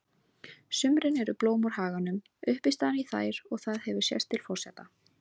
sumrin eru blóm úr haganum uppistaðan í þær og það hefur sést til forseta